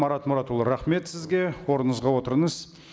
марат мұратұлы рахмет сізге орныңызға отырыңыз